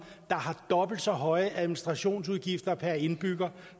der har dobbelt så høje administrationsudgifter per indbygger